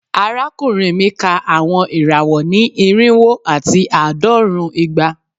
Arakunrin mi ka awọn irawọ ni irinwo ati aadọrun igba